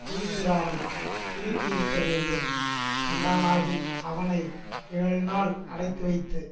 குழிந்திராமல் சுருங்கியிருக்கிறது என்றும் கண்டானாகில் அவனை ஏழுநாள் அடைத்துவைத்து